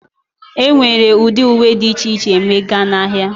Enwere ụdị uwe dị iche iche ma ịga na ahịa.